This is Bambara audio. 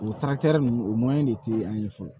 O ninnu o de tɛ an ye fɔlɔ